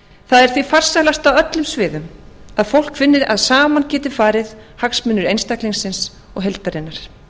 það er því farsælast á öllum sviðum að fólk finni að saman geti farið hagsmunir einstaklingsins og heildarinnar